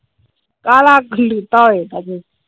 ਕਾਲਾ ਕਲੁਤਾ ਹੋ ਜਾਂਦਾ ਜੇ।